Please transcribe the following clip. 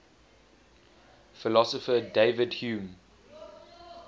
philosopher david hume